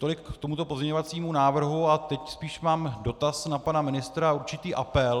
Tolik k tomuto pozměňovacímu návrhu a teď spíš mám dotaz na pana ministra a určitý apel.